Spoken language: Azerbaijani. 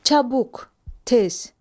Çabuk, tez.